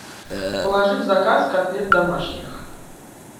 положи в заказ котлет домашних